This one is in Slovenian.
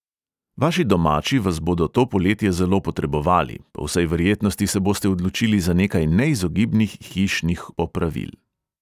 Vaši domači vas bodo to poletje zelo potrebovali, po vsej verjetnosti se boste odločili za nekaj neizogibnih hišnih opravil.